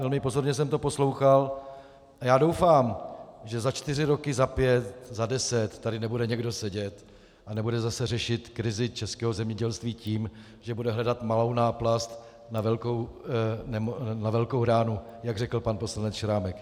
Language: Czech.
Velmi pozorně jsem to poslouchal a doufám, že za čtyři roky, za pět, za deset tady nebude někdo sedět a nebude zase řešit krizi českého zemědělství tím, že bude hledat malou náplast na velkou ránu, jak řekl pan poslanec Šrámek.